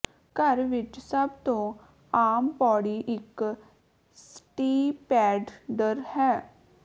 ਘਰ ਵਿਚ ਸਭ ਤੋਂ ਆਮ ਪੌੜੀ ਇਕ ਸਟੀਪੈਡਡਰ ਹੈ